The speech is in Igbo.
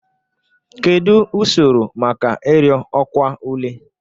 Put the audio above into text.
Kedu usoro maka ịrịọ ọkwa ule?